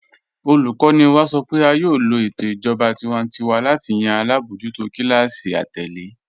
Olùkọ́ni wá sọ́ pé á yóò lọ̀ ètò ìjọba tìwántíwà láti yàn alábojútò kílásí àtẹ̀lẹ̀.